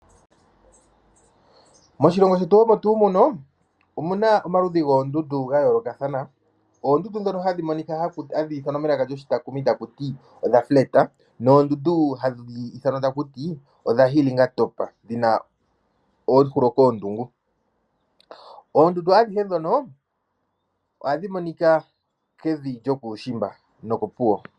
Moshilongo shetu omo tuu muno, omunaa omaludhi goondundu gayoolokadhana oondundu dhono dhayooloka hadhithanwa melaka lyoshitakumi takuti odha fuleta noondundu hadhiithanwa takuti odha hilinga topa dhina oohulo koondungu. Oondundu adhihe dhono ohadhi monika Kevi lyokuushimba noko Puwo.